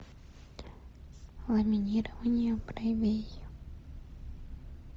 ламинирование бровей